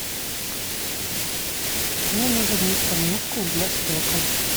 мне нужен мистер мускул для стекол